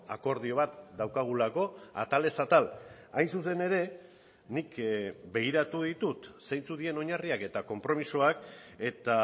akordio bat daukagulako atalez atal hain zuzen ere nik begiratu ditut zeintzuk diren oinarriak eta konpromisoak eta